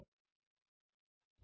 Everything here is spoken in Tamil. பின் variableகளை டிக்ளேர் செய்கிறோம்